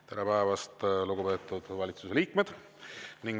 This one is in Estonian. Tere päevast, lugupeetud valitsuse liikmed!